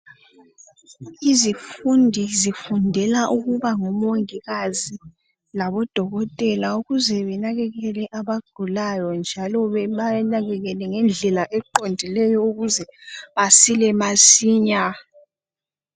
Abafundi bafundela ukuba ngomongikazi kanye labo dokotela ukuze banakakele abagulayo njalo babanakekele ngendlela eqondileyo ukuze basile masinya